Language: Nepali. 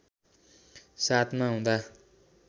७ मा हुँदा